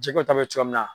Jiko ta bɛ cogo min na